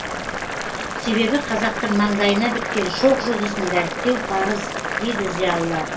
себебі қазақтың маңдайына біткен шоқ жұлдызын дәріптеу парыз дейді зиялылар